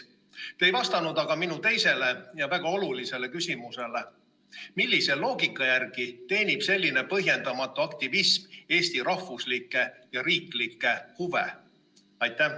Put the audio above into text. Aga te ei vastanud minu teisele ja väga olulisele küsimusele: millise loogika järgi teenib selline põhjendamatu aktivism Eesti rahvuslikke ja riiklikke huve?